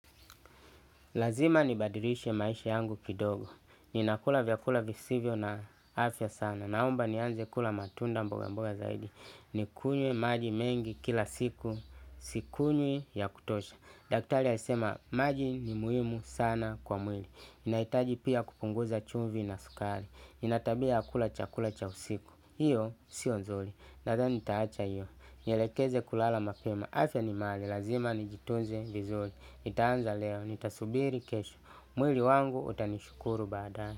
Lazima nibadilishe maisha yangu kidogo. Ninakula vyakula visivyo na afya sana. Naomba nianze kula matunda mboga mboga zaidi. Nikunywe maji mengi kila siku. Sikunywi ya kutosha. Daktari alisema maji ni muhimu sana kwa mwili. Nahitaji pia kupunguza chumvi na sukari ninatabia ya kula chakula cha usiku. Iyo sio nzuri. Nadhani nitaacha iyo. Nielekeze kulala mapema. Afya ni. Lazima nijitunze vizuri. Nitaanza leo, nitasubiri kesho, mwili wangu utanishukuru baadae.